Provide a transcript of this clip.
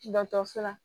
Dɔkɔtɔrɔso la